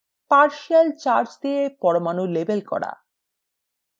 partial charge দিয়ে পরমাণু label করা